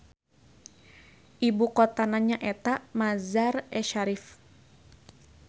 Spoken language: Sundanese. Ibu kotana nyaeta Mazar-e Sharif.